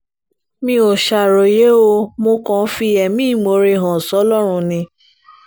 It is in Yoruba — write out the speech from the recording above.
mi ò ṣàròyé o mo kàn ń fi ẹ̀mí ìmoore hàn sọ́lọ́run ni